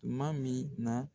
kumaa min nɔ